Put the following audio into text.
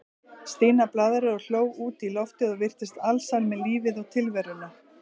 Stína blaðraði og hló út í loftið og virtist alsæl með lífið og tilveruna.